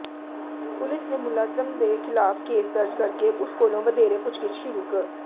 police ਨੇ ਮੁਲਜ਼ਮ ਦੇ ਖ਼ਿਲਾਫ਼ ਕੇਸ ਦਰਜ ਕਰ ਕੇ ਉਸ ਕੋਲੋਂ ਵਧੇਰੇ ਪੁੱਛਗਿੱਛ ਸ਼ੁਰੂ ਕ